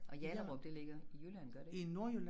Og Hjallerup det ligger i Jylland gør det ikke